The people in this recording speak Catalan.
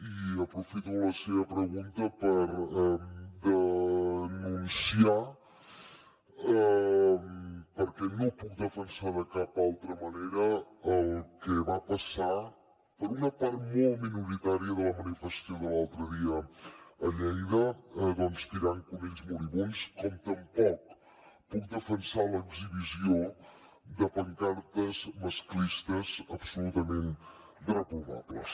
i aprofito la seva pregunta per denunciar perquè no ho puc defensar de cap manera el que va passar per una part molt minoritària de la manifestació de l’altre dia a lleida doncs tirant conills moribunds com tampoc puc defensar l’exhibició de pancartes masclistes absolutament reprovables